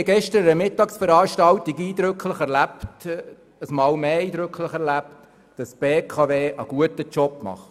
An der gestrigen Mittagsveranstaltung haben wir einmal mehr eindrücklich erlebt, dass die BKW einen guten Job macht.